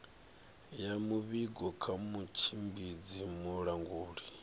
ya muvhigo kha mutshimbidzi mulanguli